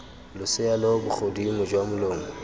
losea lo bogodimo jwa molomo